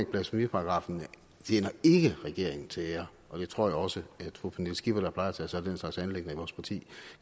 blasfemiparagraffen tjener regeringen til ære og det tror jeg også at fru pernille skipper der plejer at tage sig af den slags anliggender i vores parti